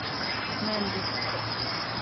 мендес